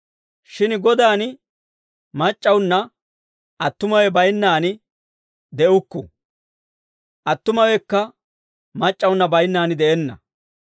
Shin Godaan mac'c'awunna attumawe baynnaan de'ukku; attumawekka mac'c'awunna baynnaan de'enna.